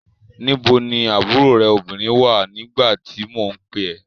Níbo ni àbúrò rẹ̀ obìnrin wà nígbà tí mo pè ẹ́?